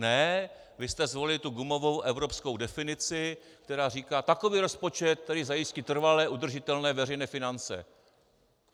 Ne, vy jste zvolili tu gumovou evropskou definici, která říká: takový rozpočet, který zajistí trvale udržitelné veřejné finance.